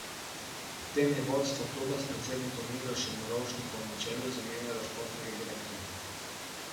Medtem je vodstvo kluba s predsednikom Milošem Rovšnikom na čelu zamenjalo športnega direktorja.